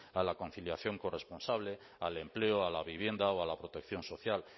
a la conciliación corresponsable al empleo a la vivienda o a la protección social